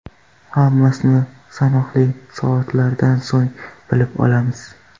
Hammasini sanoqli soatlardan so‘ng bilib olamiz.